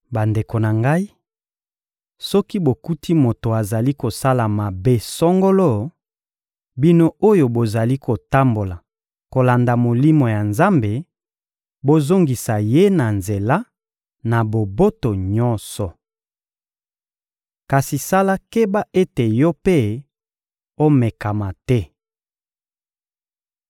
Bandeko na ngai, soki bokuti moto azali kosala mabe songolo, bino oyo bozali kotambola kolanda Molimo ya Nzambe bozongisa ye na nzela, na boboto nyonso. Kasi sala keba ete yo mpe omekama te.